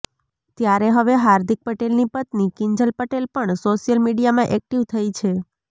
ત્યારે હવે હાર્દિક પટેલની પત્ની કિંજલ પટેલ પણ સોશિયલ મીડિયામાં એક્ટીવ થઈ છે